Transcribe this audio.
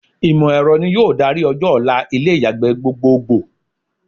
Ìmọ̀ ẹ̀rọ ni yóò darí ọjọ́-ọ̀la ilé ìyàgbẹ́ gbogbogbò.